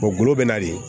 gulogu bɛ na de